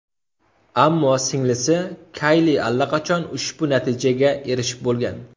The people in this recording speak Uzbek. Ammo singlisi Kayli allaqachon ushbu natijaga erishib bo‘lgan.